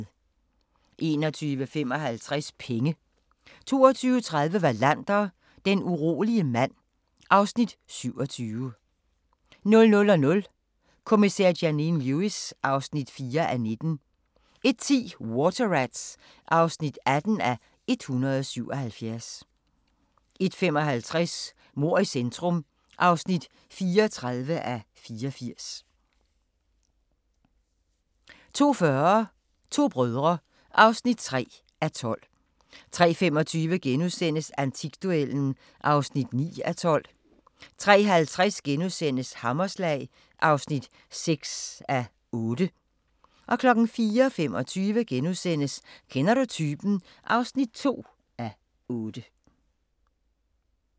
21:55: Penge 22:30: Wallander, Den urolige mand (Afs. 27) 00:00: Kommissær Janine Lewis (4:19) 01:10: Water Rats (18:177) 01:55: Mord i centrum (34:84) 02:40: To brødre (3:12) 03:25: Antikduellen (9:12)* 03:50: Hammerslag (6:8)* 04:25: Kender du typen? (2:8)*